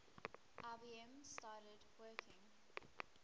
ibm started working